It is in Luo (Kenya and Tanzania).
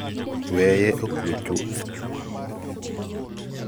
Weye okue chuth